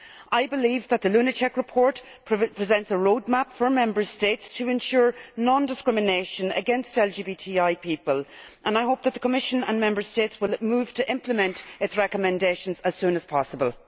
I believe that the Lunacek report presents a roadmap for Member States to ensure non discrimination against LGBTI people, and I hope that the Commission and Member States will move to implement its recommendations as soon as possible.